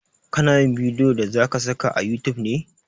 Ka na yin bidiyon da zaka saka a youtube ne?